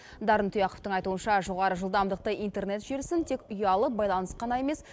дарын тұяқовтың айтуынша жоғары жылдамдықты интернет желісін тек ұялы байланыс қана емес